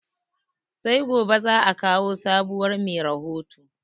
Sai gobe zaa kawo sabuwar mai rahoto